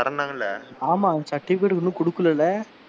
தர்ரன்னாங்கல்ல ஆமா அந்த certificate இன்னும் கொடுக்கலைல,